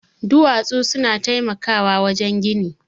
Duwatsu suna taimakawa wajen gini